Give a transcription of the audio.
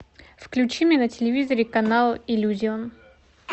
включи мне на телевизоре канал иллюзион